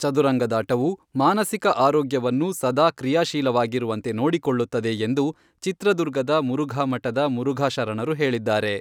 ಚದುರಂಗದಾಟವು, ಮಾನಸಿಕ ಆರೋಗ್ಯವನ್ನು ಸದಾ ಕ್ರಿಯಾಶೀಲವಾಗಿರುವಂತೆ ನೋಡಿಕೊಳ್ಳುತ್ತದೆ ಎಂದು ಚಿತ್ರದುರ್ಗದ ಮುರುಘಾಮಠದ ಮುರುಘಾ ಶರಣರು ಹೇಳಿದ್ದಾರೆ.